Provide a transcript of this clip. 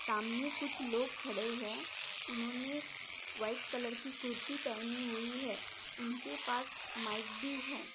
सामने कुछ लोग खड़े है उन्होंने व्हाइट कलर की कुर्ती पहनी हुई है। उनके पास माइक भी है।